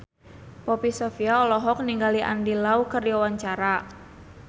Poppy Sovia olohok ningali Andy Lau keur diwawancara